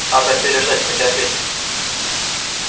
надо переждать потерпеть